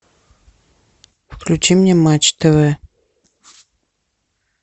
включи мне матч тв